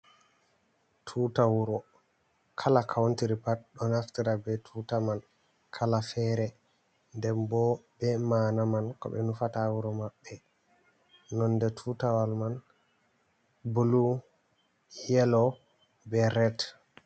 Tuta wuro, kala Country pat ɗo naftira bee tuta man kala feere nden boo ɓe ma'ana man ko ɓe nufata haa wuro maɓɓe nonnde tuutawal man blue, yelow bee red